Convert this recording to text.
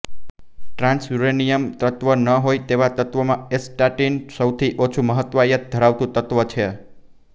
trans uranium તત્વ ન હોય તેવા તત્વોમાં એસ્ટાટીન સૌથી ઓછી બહુતાયત ધરાવતું તત્વ છે